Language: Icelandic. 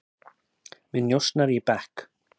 Með njósnara í bekk